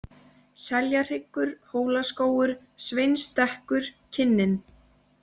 Seljahryggur, Hólaskógur, Sveinsstekkur, Kinnin